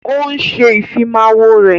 Ó ń ṣe Ìfimáwo rẹ̀